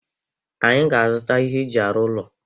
Anyị ga-azụta ihe eji arụ ụlọ.